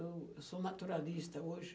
Eu sou naturalista hoje.